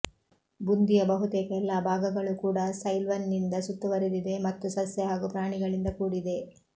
ಬುಂದಿಯ ಬಹುತೇಕ ಎಲ್ಲಾ ಭಾಗಗಳೂ ಕೂಡಾ ಸೈಲ್ವನ್ನಿಂದ ಸುತ್ತುವರಿದಿದೆ ಮತ್ತು ಸಸ್ಯ ಹಾಗೂ ಪ್ರಾಣಿಗಳಿಂದ ಕೂಡಿದೆ